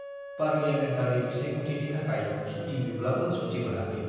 Parliamentary बिसायाख'थिनि थाखाय सुटि बिब्लाबो सुटि मोनाखै।